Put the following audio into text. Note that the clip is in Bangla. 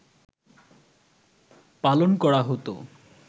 পালন করা হত